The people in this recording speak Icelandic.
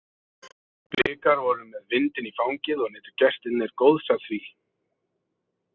Blikar voru með vindinn í fangið og nutu gestirnir góðs af því.